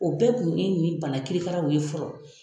O bɛɛ kun ye nin bana kiri karaw ye fɔlɔ.